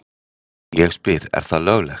Og ég spyr er það löglegt?